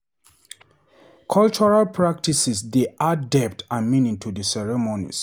Cultural practices dey add depth and meaning to the ceremonies.